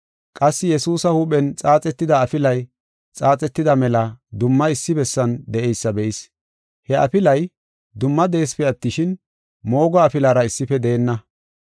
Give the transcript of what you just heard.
Qassi Yesuusa huuphen xaaxetida afilay xaaxetida mela dumma issi bessan de7eysa be7is. He afilay dumma de7eesipe attishin, moogo afilara issife deenna.